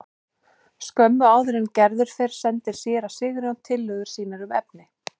Skömmu áður en Gerður fer sendir séra Sigurjón tillögur sínar um efni.